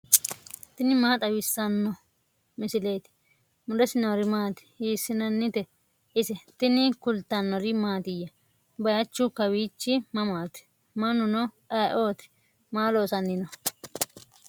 tini maa xawissanno misileeti ? mulese noori maati ? hiissinannite ise ? tini kultannori mattiya? bayiichchu kawiichchi mamaatti? Mannunno ayiootti? Maa loosanni noo?